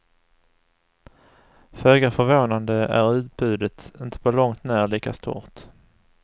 Föga förvånande är utbudet inte på långt när lika stort.